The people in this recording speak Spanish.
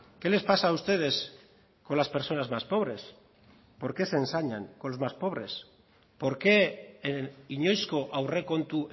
qué les pasa a ustedes con las personas más pobres por qué se ensañan con los más pobres por qué inoizko aurrekontu